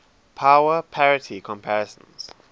power parity comparisons